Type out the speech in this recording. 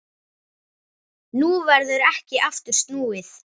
Nú verður ekki aftur snúið.